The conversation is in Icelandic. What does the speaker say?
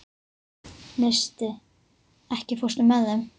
Neisti, ekki fórstu með þeim?